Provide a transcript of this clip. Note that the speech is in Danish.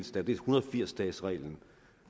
firs dagesreglen